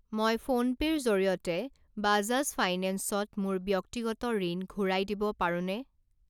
মই ফোনপে' ৰ জৰিয়তে বাজাজ ফাইনেন্সত মোৰ ব্যক্তিগত ঋণ ঘূৰাই দিব পাৰোনে?